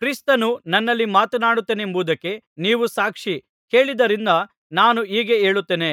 ಕ್ರಿಸ್ತನು ನನ್ನಲ್ಲಿ ಮಾತನಾಡುತ್ತಾನೆಂಬುವುದಕ್ಕೆ ನೀವು ಸಾಕ್ಷಿ ಕೇಳಿದ್ದರಿಂದ ನಾನು ಹೀಗೆ ಹೇಳುತ್ತೇನೆ